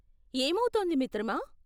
ఏమౌతోంది మిత్రమా?